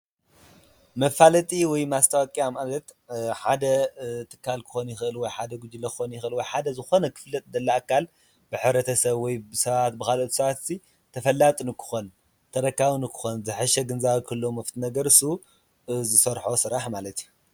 መፋለጢ ወይ ማስታወቅያ ማለት ሓደ ትካል ክኾን ይኽእል ወ የሓደ ጊዜ ክኾን ይኽእል ወይ ሓደ ዝኾነ ኽፋለጥ ዝድለ እካል ብሕብረተ ሰብ ወይ ብሰባት ብኻልኦት ሰባትሲ ተፈላጢ ንክኾን ተረካቢ ንክኾን ዘሕሸ ግንዛበ ንኽህለዎ ወይኣፍቲ ነገር አሱ ብዝሰርሖ ስራሕ ማለትእዩ፡፡